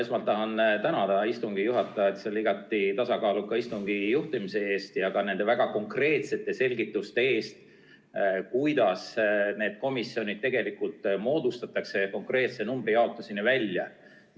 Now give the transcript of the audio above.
Esmalt tahan tänada istungi juhatajat selle igati tasakaaluka istungi juhtimise eest ja ka väga konkreetsete selgituste eest, kuidas need komisjonid tegelikult moodustatakse – konkreetse numbri jaotuseni välja.